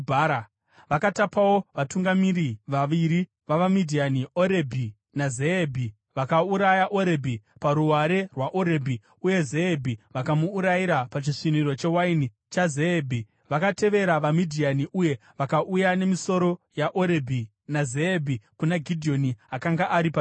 Vakatapawo vatungamiri vaviri vavaMidhiani, Orebhi naZeebhi. Vakauraya Orebhi paruware rwaOrebhi, uye Zeebhi vakamuurayira pachisviniro chewaini chaZeebhi. Vakatevera vaMidhiani uye vakauya nemisoro yaOrebhi naZeebhi kuna Gidheoni, akanga ari paJorodhani.